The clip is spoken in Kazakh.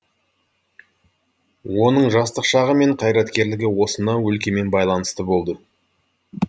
оның жастық шағы мен қайраткерлігі осынау өлкемен байланысты болды